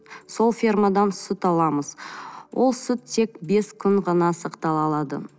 сол фермадан сүт аламыз ол сүт тек бес күн ғана сақталына алады